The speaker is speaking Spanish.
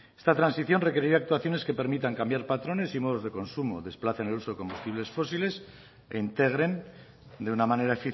esta transición requerirá actuaciones que permitan cambiar patrones y modos de consumo desplacen el uso de combustibles fósiles e integren de una manera